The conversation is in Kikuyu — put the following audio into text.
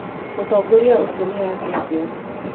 Mũtongoria ũcio nĩ angeithia.